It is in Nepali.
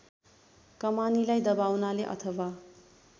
कमानीलाई दबाउनाले अथवा